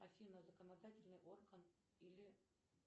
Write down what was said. афина законодательный орган или